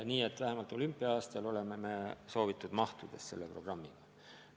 Nii et vähemalt olümpia-aastal on selle programmi maht, nagu soovitud.